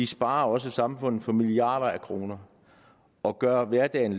sparer også samfundet for milliarder af kroner og gør hverdagen